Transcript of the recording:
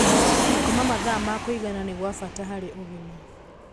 Gũkoma mathaa ma kũigana nĩ gwa bata harĩ ũgima